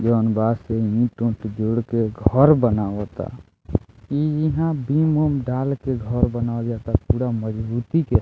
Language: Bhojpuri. जउन बा से ईंट-ऊट जोड़ के घर बनाबाता इ हिया बीम उम डाल के घर बनावल जाअता पूरा मजबूती के --